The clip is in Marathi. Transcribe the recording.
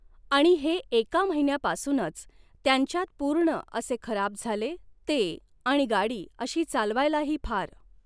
आणि हे एका महिन्यापासूनच त्यांच्यात पूर्ण असे खराब झाले ते आणि गाडी अशी चालवायलाही फार